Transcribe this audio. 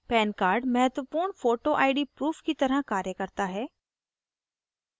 pan card महत्वपूर्ण photoआईडी proof की तरह card करता है